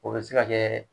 O bɛ se ka kɛ